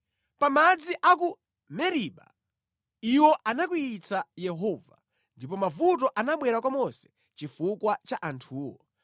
Pa madzi a ku Meriba iwo anakwiyitsa Yehova ndipo mavuto anabwera kwa Mose chifukwa cha anthuwo,